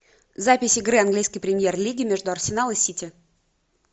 запись игры английской премьер лиги между арсенал и сити